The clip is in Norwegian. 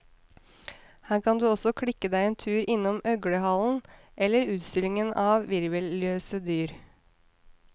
Her kan du også klikke deg en tur innom øglehallen, eller utstillingen av hvirvelløse dyr.